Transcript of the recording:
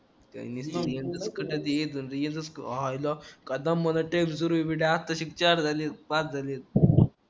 हायला काय दमानं चार झाले पाच झालेत